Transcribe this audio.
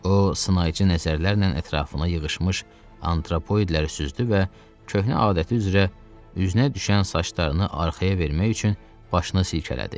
O, sınayıcı nəzərlərlə ətrafına yığışmış antropoidləri süzdü və köhnə adəti üzrə üzünə düşən saçlarını arxaya vermək üçün başını silkələdi.